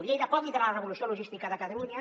lleida pot liderar la revolució logística de catalunya